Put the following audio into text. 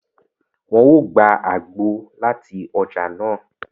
Wọn o gbà àgbo láti ọja nàá